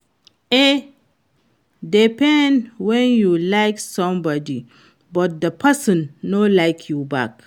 E dey pain when you like somebody but the person no like you back